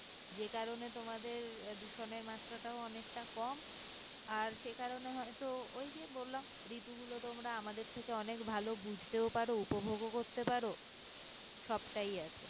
যে কারণে তোমাদের আহ দূষণের মাত্রাটা ও অনেকটা কম আর সে কারণে হয়তো ওই যে বললাম ঋতু গুলো তোমরা আমাদের থেকে অনেক ভালো বুঝতেও পারো উপভোগও করতে পারো সবটাই আছে